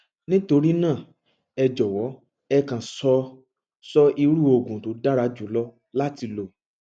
nítorí náà ẹ jọwọ ẹ kàn sọ sọ irú oògùn tó dára jùlọ láti lò